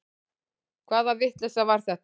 Hvaða vitleysa var þetta?